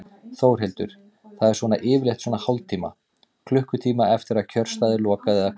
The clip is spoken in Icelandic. Þórhildur: Það er svona yfirleitt svona hálftíma, klukkutíma eftir að kjörstað er lokað eða hvað?